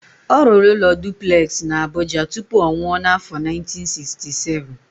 Ọ rụrụ ụlọ duplex na Abuja tupu ọ nwụọ n'afọ 1967.